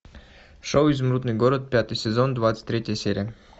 шоу изумрудный город пятый сезон двадцать третья серия